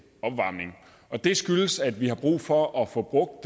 opvarmning og det skyldes at vi har brug for at få brugt